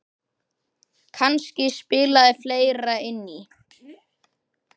Kannski spilaði fleira inn í.